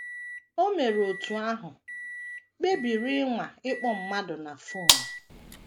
O mere otú ahụ, kpebiri ịnwa ịkpọ mmadụ na fon.